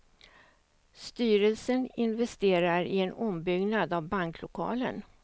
Styrelsen investerar i en ombyggnad av banklokalen.